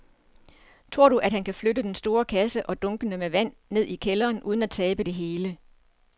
Tror du, at han kan flytte den store kasse og dunkene med vand ned i kælderen uden at tabe det hele?